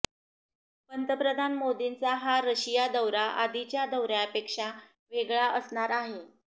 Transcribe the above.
पंतप्रधान मोदींचा हा रशिया दौरा आधीच्या दौऱ्यापेक्षा वेगळा असणार आहे